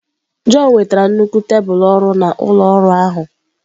John wetara nnukwu tebụl ọrụ na ụlọ ọrụ ahụ.